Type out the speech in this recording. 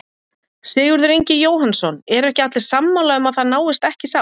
Sigurður Ingi Jóhannsson: Eru ekki allir sammála um að það náist ekki sátt?